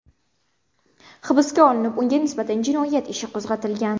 hibsga olinib, unga nisbatan jinoyat ishi qo‘zg‘atilgan.